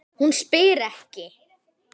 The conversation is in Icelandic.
Hún spyr ekki.